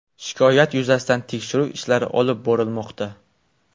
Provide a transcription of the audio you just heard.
Shikoyat yuzasidan tekshiruv ishlari olib borilmoqda.